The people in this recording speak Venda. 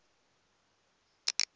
dza ict u bva kha